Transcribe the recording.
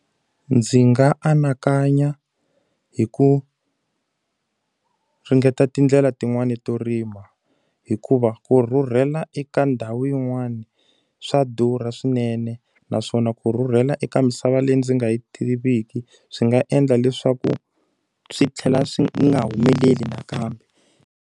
Ndzi nga anakanya hi ku ringeta tindlela tin'wani to rima. Hikuva ku rhurhela eka ndhawu yin'wana, swa durha swinene. Naswona ku rhurhela eka misava leyi ndzi nga yi tiviki swi nga endla leswaku swi tlhela swi nga humeleli nakambe.